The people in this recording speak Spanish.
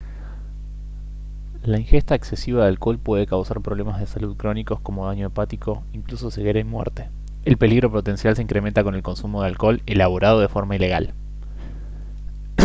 la ingesta excesiva de alcohol puede causar problemas de salud crónicos como daño hepático e incluso ceguera y muerte el peligro potencial se incrementa con el consumo de alcohol elaborado de forma ilegal